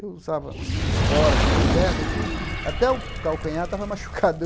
Eu usava espora aqui no pé, no fim, até o calcanhar estava machucado de eu.